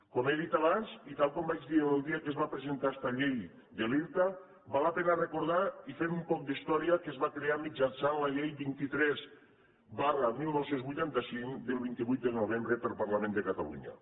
com he dit i tal i com vaig dir el dia que es va presentar esta llei de l’irta val la pena recordar i fent un poc d’història que es va crear mitjançant la llei vint tres dinou vuitanta cinc del vint vuit de novembre pel parlament de catalunya